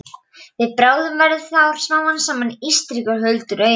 Við bráðnun verða þar smám saman til ísstrýtur huldar auri.